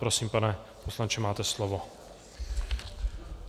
Prosím, pane poslanče, máte slovo.